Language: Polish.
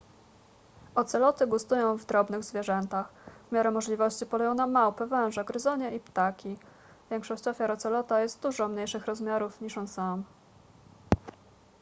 oceloty gustują w drobnych zwierzętach w miarę możliwości polują na małpy węże gryzonie i ptaki większość ofiar ocelota jest dużo mniejszych rozmiarów niż on sam